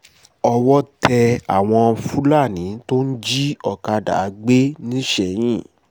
owó tẹ àwọn fúlàní tó ń jí ọ̀kadà gbé nisẹ̀yìn